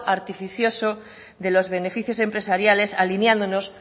artificioso de los beneficios empresariales alineándonos